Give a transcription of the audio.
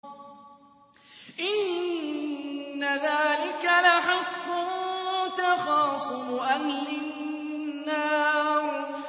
إِنَّ ذَٰلِكَ لَحَقٌّ تَخَاصُمُ أَهْلِ النَّارِ